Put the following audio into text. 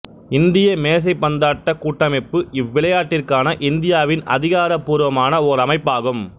இந்திய மேசைப்பந்தாட்ட கூட்டமைப்பு இவ்விளையாட்டிற்கான இந்தியாவின் அதிகாரபூர்வமான ஓர் அமைப்பாகும்